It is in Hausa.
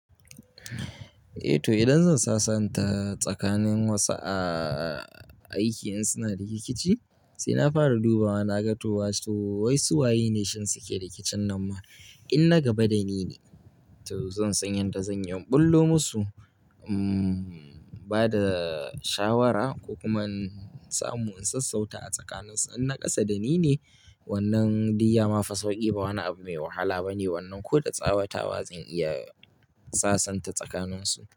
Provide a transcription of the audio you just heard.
Eh to idan zan sasanta tsakanin wasu a aiki in suna rikici sai na fara duba wa na ga to wato wai su waye ne shin suke rikicin nan ma in na gaba da ni ne to zan san yadda zan iya ɓullo musu, im bada shawara ko kuma in samu in sassauta a tsakanin su in na ƙasa da ni ne wannan duk ya ma fi sauƙi ba wani abu mai wahala bane wannan ko da tsawatawa zan iya sasanta tsakanin su.